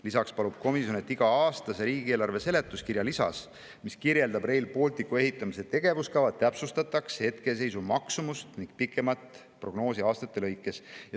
Lisaks palub komisjon, et iga-aastase riigieelarve seletuskirja lisas, mis kirjeldab Rail Balticu ehitamise tegevuskava, täpsustataks hetkeseisu maksumust ning pikemat prognoosi aastate lõikes.